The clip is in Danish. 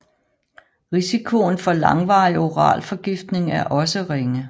Risikoen for langvarig oral forgiftning er også ringe